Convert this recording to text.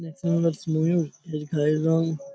এক সুন্দরস ময়ূর এর ঘায়ের রং --